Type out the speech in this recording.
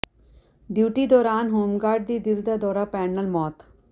duty ਦੌਰਾਨ home guard ਦੀ ਦਿਲ ਦਾ ਦੌਰਾ ਪੈਣ ਨਾਲ ਮੌਤ